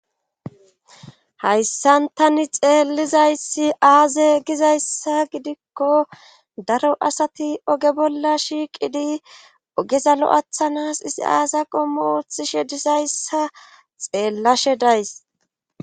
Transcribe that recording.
Hayssantani xeellizayssi aaze gizayssa gidikko daro asati oge bolla shiiqidi ogezalo'athanas isi aasa qommo oothishe disayssa xeellashe days